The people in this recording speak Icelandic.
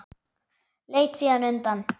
Leit síðan undan.